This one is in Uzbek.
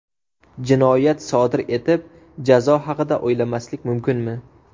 Jinoyat sodir etib, jazo haqida o‘ylamaslik mumkinmi?